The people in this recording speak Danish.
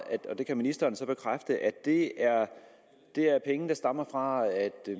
og det kan ministeren så bekræfte at det det er penge der stammer fra at